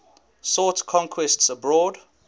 sought conquests abroad